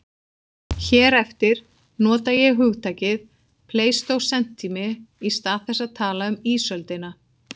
Hér eftir nota ég hugtakið pleistósentími í stað þess að tala um ísöldina.